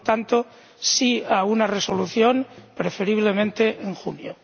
Por tanto, sí a una resolución, preferiblemente en junio.